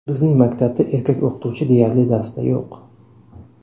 Bizning maktabda erkak o‘qituvchi deyarli darsda yo‘q.